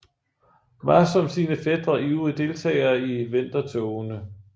Var som sine fætre ivrig deltager i Vendertogene